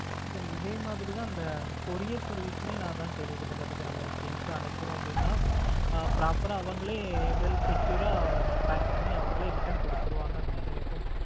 இதே மாதிரி தான் அந்த courier service மே நான் அதான் கேள்விப்பட்டேன் பாத்துக்கோ நான் இப்ப things அனுப்புறோம் அப்படின்னா ஆஹ் proper ஆ அவங்களே well secure ஆ pack பண்ணி அவர்களே return கொடுத்துருவாங்கன்னு நினைக்கிறேன். இப்போ